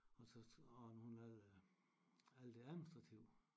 Og så hun havde alt det administrative